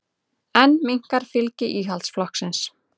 Enn minnkar fylgi Íhaldsflokksins